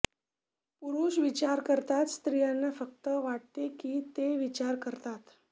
पुरुष विचार करतात स्त्रियांना फक्त वाटते की ते विचार करतात